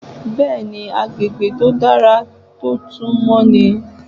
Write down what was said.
Bẹ́ẹ̀ni, agbègbè tó dára tó tún mọ́ ni.